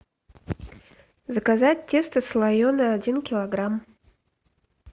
заказать тесто слоеное один килограмм